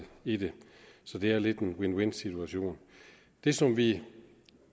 i det så det er lidt en win win situation det som vi